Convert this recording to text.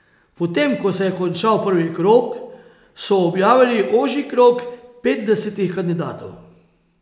Potem ko se je končal prvi krog, so objavili ožji krog petdesetih kandidatov.